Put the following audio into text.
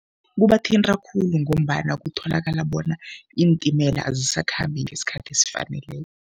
Kubathinta khulu ngombana kutholakala bona iintimela azisakhambi ngesikhathi esifaneleko.